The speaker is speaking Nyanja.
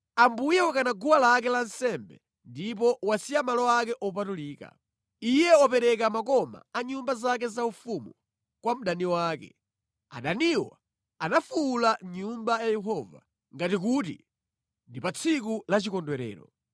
Ambuye wakana guwa lake la nsembe ndipo wasiya malo ake opatulika. Iye wapereka makoma a nyumba zake zaufumu kwa mdani wake; adaniwo anafuwula mʼnyumba ya Yehova ngati kuti ndi pa tsiku la chikondwerero.